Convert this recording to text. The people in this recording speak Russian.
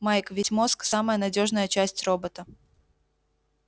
майк ведь мозг самая надёжная часть робота